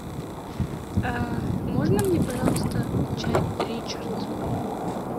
можно мне пожалуйста чай ричард